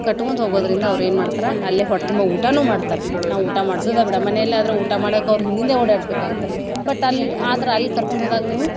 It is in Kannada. ಕಟ್ಗೊಂತ ಹೋಗೋದ್ರಿಂದ ಅವ್ರ ಏನ್ ಮಾಡ್ತಾರ ಅಲ್ಲೆ ಹೊಟ್ತುಂಬ ಊಟಾನೂ ಮಾಡ್ತಾರ ನಾವ್ ಊಟಾ ಮಾಡ್ಸುದ ಬ್ಯಾಡ, ಮನೇಲ್ ಆದ್ರ ಊಟಾ ಮಾಡೋಕೆ ಅವ್ರ ಹಿಂದ್ ಹಿಂದ್ ಓಡಾಡ್ಬೇಕಾಗುತ್ತ but ಅಲ್ ಆದ್ರ ಅಲ್ ಕರ್ಕೊಂಡ್ ಹೋದಾಗ ನೀವು.